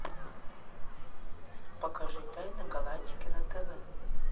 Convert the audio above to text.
покажи тайны галактики на тв